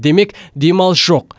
демек демалыс жоқ